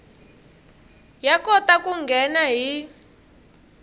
ya kota ku nghena hi